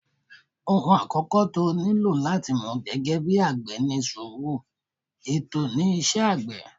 Òhun àkọ́kọ́ tí o nílò láti mọ̀ gẹ́gẹ́ bí àgbẹ̀ ni sùúrù, ètò ni iṣẹ́ àgbẹ̀.